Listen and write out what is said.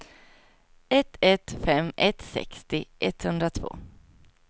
ett ett fem ett sextio etthundratvå